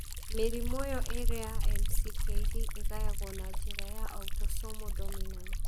Mĩrimũ ĩyo ĩĩrĩ ya MCKD ĩgayagwo na njĩra ya autosomal dominant.